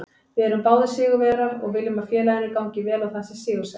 Við erum báðir sigurvegarar og viljum að félaginu gangi vel og það sé sigursælt.